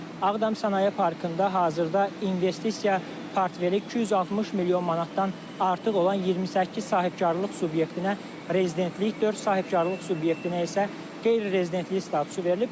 Ağdam Sənaye Parkında hazırda investisiya portfeli 260 milyon manatdan artıq olan 28 sahibkarlıq subyektinə rezidentlik, dörd sahibkarlıq subyektinə isə qeyri-rezidentlik statusu verilib.